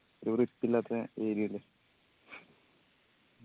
ഒരു വൃത്തി ഇല്ലാത്തെ area അല്ലെ